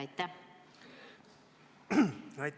Aitäh!